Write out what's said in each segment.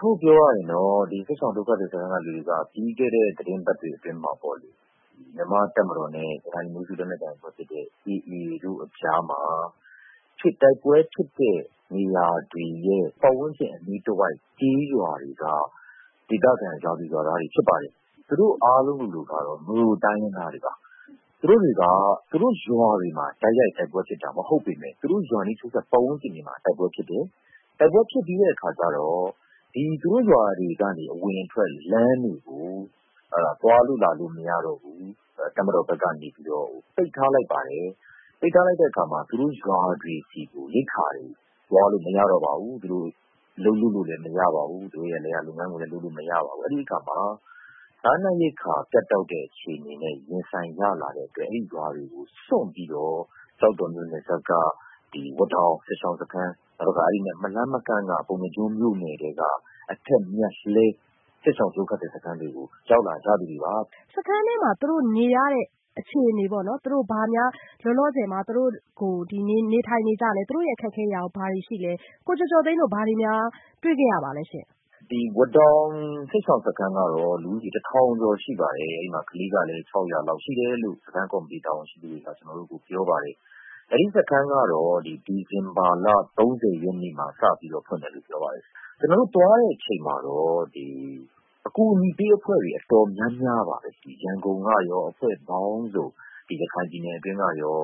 ျုပ်ပြောရရင် စစ်ရှောင်ဒုက္ခသည်စခန်းက ဒုက္ခသည်တွေက ပြီးခဲ့တဲ့ သီတင်းပတ်တွေအတွင်းမှာပေါ့လေ မြန်မာတပ်မတော်နဲ့ ရခိုင်လူမျိုးစု လက်နက်ကိုင်အဖွဲ့ဖြစ်တဲ့ AA တို့အကြားမှာ တိုက်ပွဲဖြစ်တဲ့ နေရာတွေရဲ့ ပတ်ဝန်းကျင်အနီးတဝှက်ကျေးရွာတွေက ဒေသခံ ရွာသူရွာသားတွေဖြစ်ပါတယ်။ သူတို့အားလုံးလိုလိုကတော့ မြိုတိုင်းရင်းသားတွေပါ ။ သူတို့ရွာတွေမှာ တိုက်ရိုက် တိုက်ပွဲဖြစ်တာ မဟုတ်ပေမယ့် ပတ်ဝန်းကျင်အနီးတဝှက်မှာ တိုက်ပွဲဖြစ်တယ်။ တိုက်ပွဲဖြစ်တဲ့အခါကျတော့ ရွာအဝင်အထွက်လမ်းတွေကို သွားလို့လာလို့မရတော့ဘူး တပ်မတော်ဘက်ကနေပြီးတော့ ပိတ်ထားလိုက်ပါတယ်။ အဲလိုလုပ်လိုက်တဲ့အခါမှာ သူတို့ရွာတွေဆီကို ရိက္ခာတွေ သွားလို့မရတော့ဘူး ၊ အလုပ်လုပ်လို့လည်းမရတော့ဘူး။ လယ်ယာလုပ်ငန်း လညးလုပ်လို့မရတော့ဘူး။ အဲဒီအခါမှာ စားနပ်ရိက္ခာ ပြတ်တောက်တဲ့အခြေအနေနဲ့ ရင်ဆိုင်ရတဲ့အတွက် အဲဒီရွာတွေကိုစွန့်ပြီးတော့ ကျောက်တော်မြို့နယ်စပ်မှာရှိတဲ့ ဝါးတောင် စစ်ရှောင် ဒုက္ခသည်စခန်း နဲ့ အဲဒီ စခန်းနဲ့ မလှမ်းမကမ်းမှာရှိတဲ့ အထက်မြတ်လှဲ စစ်ရှောင်ဒုက္ခသည်စခန်းကို ရောက်လာသူတွေပါ။ စခန်းအတွင်းမှာ သူတို့နေရတဲ့အခြေအနေပေါ့နော် လောလောဆည် သူတို့ ဘယ်လိုနေထိုင်နေကြသလဲ ၊ အခက်အခဲတွေ ဘာတွေရှိသလဲ ကိုကျော်ကျော်သိန်းတို့ ဘာများတွေ့ခဲ့ရပါသလဲ။ ဝါးတောင် စစ်ရှောင် စခန်း ကတော့ လူဦးရေ ၁၀၀၀ ကျော်ရှိပါတယ်။ အဲဒီမှာ ကလေးကလည်း ၆၀၀ လောက်ရှိတယ်လို့ စခန်းကော်မတီ တာဝန်ရှိသူတွေက ပြောပါတယ်။ အဲဒီစခန်းကတော့ ဒီဇင်ဘာလ ၃၀ ရက်နေ့မှာ စပြီးတော့ ဖွင့်တယ်လို့ ပြောပါတယ်။ ကျနော်တို့သွားတဲ့အချိန်မှာတော့ အကူအညီပေးအဖွဲ့တွေတော်တော်များများပါပဲ။ ရန်ကုန်ကရော အဖွဲ့ပေါင်းစုံ ၊ ရခိုင်ပြည်နယ်အတွင်းကရော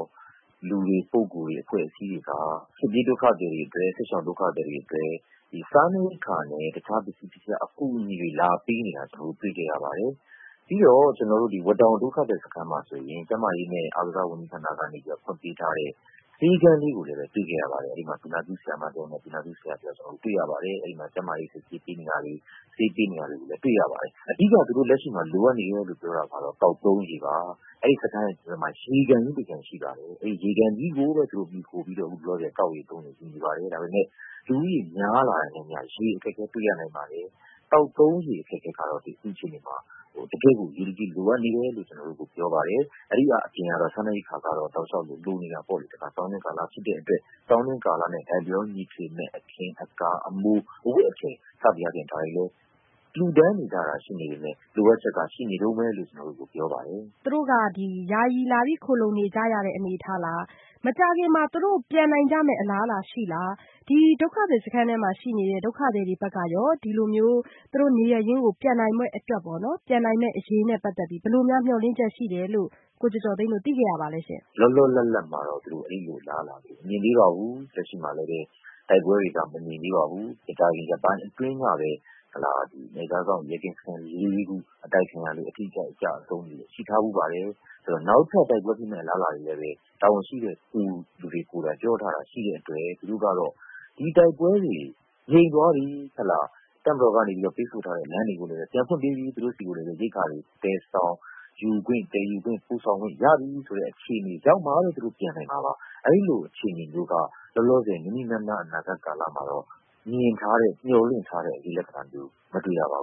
လူတွေ ပုဂ္ဂိုလ်တွေအဖွဲ့အစည်းတွေက စစ်ပြေးဒုက္ခသည်တွေအတွက် စားနပ်ရိက္ခာနဲ့ တခြားပစ္စည်းအကူအညီတွေ လာပေးနေတာ ကျနော်တို့ တွေ့ခဲ့ရပါတယ်။ ပြီးတော့ ဝါးတောင် စစ်ရှောင် ဒုက္ခသည်စခန်း မှာဆိုရင် ကျန်းမာရေးနဲ့ အားကစားဝန်ကြီဌာနက ဖွင့်ပေးထားတဲ့ ဆေးခန်းလေးကိုလည်း တွေ့ခဲ့ရပါတယ်။ အဲဒီမှာ သူနာပြုဆရာမတယောက်နဲ့ သူနာပြုဆရာတယောက်ကို တွေ့ခဲ့ရပါတယ်။ အဲဒီမှာ ကျန်းမာရေးစစ်ဆေးပေးနေတာတွေ ဆေးတွေပေးနေတာတွေ တွေ့ခဲ့ရပါတယ်။ အဓိက လက်ရှိမှာ သူတို့ လိုအပ်နေတာကတော့ သောက်သုံးရေပါ။ အဲဒီစခန်းဘေးမှာ ရေကန်ကြီးတကန်ရှိပါတယ်။ အဲဒီ ရေကန်ကြီးကိုပဲ သူတို့မှီခိုပြီးတော့ သောက်ရေသုံးရေယူနေပါတယ် ဒါပေမယ့် လူဦးရေများလာတာနဲ့အမျှ ရေအခက်အခဲတွေ့ရနိုင်ပါတယ်။ သောက်ရေသုံးရေအခက်အခံကတော့ အခုအချိန် အရေးတကြီးလိုနေတယ်လို့ ကျနော်တို့ကိုပြောပါတယ်။ အဲဒါအပြင်ကတော့ စားနပ်ရိက္ခာကတော့ တော့ တောက်လျောက်လိုနေတာပေါ့လေ။ ဆောင်းတွင်းကာလဖြစ်တဲ့အတွက် အခင်းအကာအမိုး စသည်ဖြင့် လှူဒါန်းနေတာရှိနေပေမယ့် လိုအပ်ချက်က ရှိနေတုန်းပဲလို့ ကျနော်တို့ကို ပြောပါတယ်။ သူတို့က ယာယီလာပြီးခိုလုံနေတဲ့အနေအထားလား၊ မကြာခင်မှာ ပြန်နိုင်ဖို့အလားအလာရှိလား။ ဒီဒုက္ခသည်စခန်းထဲမှာ ရှိနေတဲ့ ဒုက္ခသည်တွေဘက်ကရော သူတို့ နေရပ်ရင်းကို ပြန်နိုင်မယ့်အရေးနဲ့ ပတ်သတ်ပြီး ဘယ်လိုမျိုး မျှော်လင့်ချက်ရှိတယ်လို့ ကိုကျော်ကျော်သိန်းတို့ သိခဲ့ရပါသလဲ။ လောလောလပ်လပ်မှာတော့ အဲလိုအလားအလာမျိုး မမြင်သေးပါဘူး။ လက်ရှိမှာလည်း တိုက်ပွဲတွေက မညိမ်သေးပါဘူး။ မကြာခင်ရက်ပိုင်းအတွင်းကပဲ နယ်ခြားစောင့် ကင်းစခန်း ၄ ခုအတိုက်ခံရတယ် အထိအခိုက် အကျအဆုံးတွေလည်းရှိထားပါတယ်။ ပြီးတော့ နောက်ထပ်တိုက်ပွဲဖြစ်မယ့်အလားအလာတွေလည်း တာဝန်ရှိတဲ့သူတွေကိုယ်တိုင်ပြောထားတဲ့အတွက်၊ သူတို့ကတော့ ဒီတိုက်ပွဲတွေ ငြိမ်သွားပြီ ၊ တပ်မတော်ကနေပြီးတော့ ပိတ်ဆို့ထားတဲ့လမ်းတွေကို ပြန်ဖွင့်ပေးပြီ ၊ ရိက္ခာတွေကိုလည်း သယ်ဆောင်ယူခွင့်ရပြီ ဆိုတဲ့အခြေအနေမျိုးရောက်မှပဲ သူတို့ပြန်နိုင်မှာပါ။ အဲလိုအခြေအနေမျိုးက လောလောဆည် နီးနီးနားနားအနာဂတ်ကာလမှာတော့ မြင်ထားတဲ့ မျှော်လင့်ထားတဲ့ အရိပ်လက္ခဏာမျိုး မတွေ့ရပါဘူး